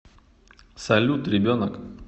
салют ребенок